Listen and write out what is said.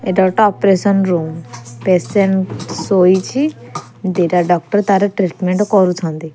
ଏଟା ଗୋଟେ operation room patient ଶୋଇଛି ଦିଟା ଡକ୍ଟର ତାର ଟ୍ରିଟମେଣ୍ଟ କରୁଛନ୍ତି।